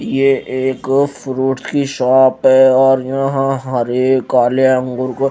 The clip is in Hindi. ये एक फ्रूट की शॉप है और यहां हरे काले अंगूर को--